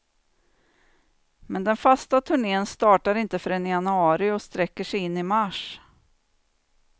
Men den fasta turnén startar inte förrän i januari och sträcker sig in i mars.